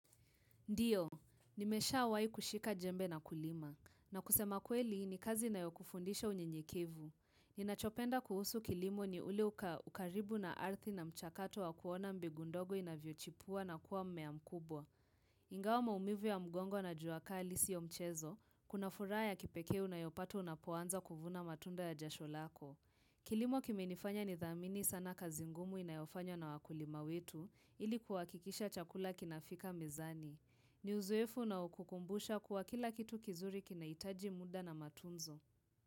Ndio, nimeshawai kushika jembe na kulima. Na kusema kweli, ni kazi inayokufundisha unyenyekevu. Ninachopenda kuhusu kilimo ni ule uka, ukaribu na ardhi na mchakato wa kuona mbegu ndogo inavyochipua na kuwa mmea mkubwa. Ingawa maumivu ya mgongo na jua kali sio mchezo, kuna furaha ya kipekee unayopata unapoanza kuvuna matunda ya jasho lako. Kilimo kimenifanya nidhamini sana kazi ngumu inayofanywa na wakulima wetu ili kuhakikisha chakula kinafika mezani. Ni uzoefu unaokukumbusha kuwa kila kitu kizuri kinahitaji muda na matunzo.